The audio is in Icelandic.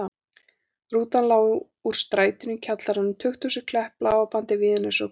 Rútan lá úr strætinu í kjallarann, tukthúsið, Klepp, Bláa bandið, Víðines og Gunnarsholt.